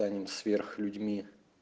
станем сверх людьми